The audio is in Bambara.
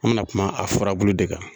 An mɛna kuma a farabulu de kan.